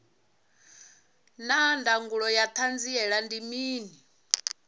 naa ndangulo ya hanziela ndi mini